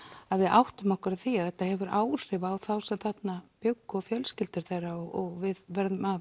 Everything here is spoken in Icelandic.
að við áttum okkur á því að þetta hefur áhrif á þá sem þarna bjuggu og fjölskyldur þeirra og við verðum að